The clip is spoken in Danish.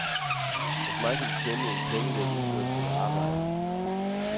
Hos mig kan de tjene nogle penge ved at udføre et stykke arbejde.